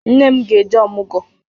Nne m ga-eje ọmụgọ.